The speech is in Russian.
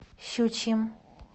щучьим